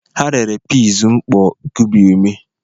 Ha rere peas mkpọ kubie ume.